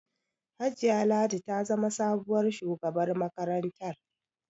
Hajiya Ladi ta zama sabuwar shugabar makarantar.